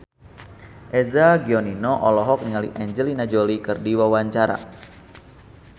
Eza Gionino olohok ningali Angelina Jolie keur diwawancara